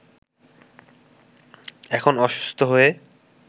এখন অসুস্থ হয়ে